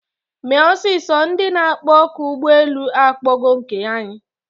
Mee ọsịsọ! Ndị na akpọ oku ụgbọ elu akpọgo nke anyị!